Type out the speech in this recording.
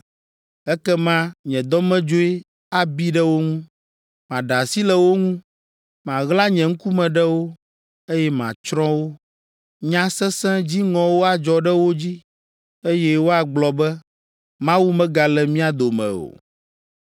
Ekema nye dɔmedzoe abi ɖe wo ŋu, maɖe asi le wo ŋu, maɣla nye ŋkume ɖe wo, eye matsrɔ̃ wo. Nya sesẽ, dziŋɔwo adzɔ ɖe wo dzi, eye woagblɔ be, ‘Mawu megale mía dome o!’